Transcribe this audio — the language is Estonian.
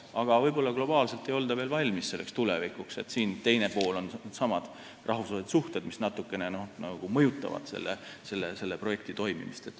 Aga võib-olla globaalselt ei olda veel valmis selleks tulevikuks, sest teisalt needsamad rahvusvahelised suhted mõjutavad natukene ka selle projekti toimimist.